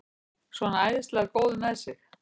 Svona æðislega góður með sig!